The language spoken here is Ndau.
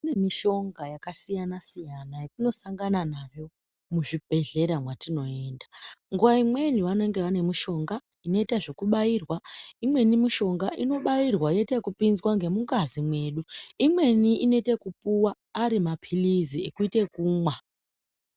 Kune mishonga yakasiyanasiyana yatinosangana nayo muzvibhehleya mwatinoenda nguwa imweni vanenge vane mishonga inoita zvekubairwa ,imweni mishonga inobairwa yoitayekupinzwe ngemungazi mwedu, imweni inoite yekupuwa ari mapilizi ekuite ekumwa.